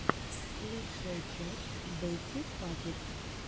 лучшая часть бэтти паппет